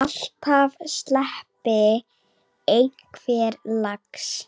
Alltaf sleppi einhver lax.